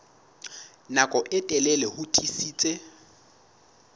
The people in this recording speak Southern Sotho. nako e telele ho tiisitse